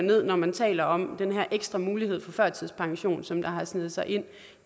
når man taler om den her ekstra mulighed for førtidspension som har sneget sig ind